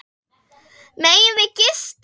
Megum við gista?